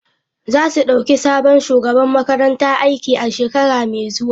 Za su dauki sabon shugaban makaranta aiki a shekara mai zuwa.